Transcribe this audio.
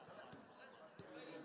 Yəni bilirsən ki, sən Azərbaycanlısan.